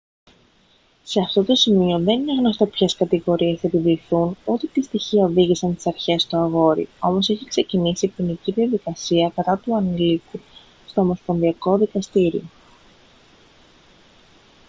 σε αυτό το σημείο δεν είναι γνωστό ποιες κατηγορίες θα επιβληθούν ούτε τι στοιχεία οδήγησαν τις αρχές στο αγόρι όμως έχει ξεκινήσει ποινική διαδικασία κατά του ανηλίκου στο ομοσπονδιακό δικαστήριο